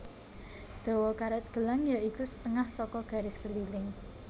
Dawa karet gelang ya iku setengah saka garis keliling